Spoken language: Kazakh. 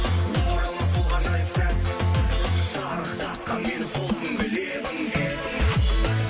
оралмас сол ғажайып сәт шарықтатқан мені сол күнгі лебің